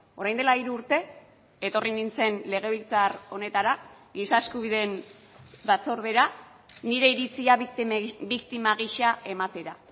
orain dela hiru urte etorri nintzen legebiltzar honetara giza eskubideen batzordera nire iritzia biktima gisa ematera